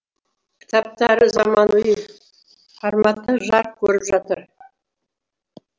кітаптары заманауи форматта жарық көріп жатыр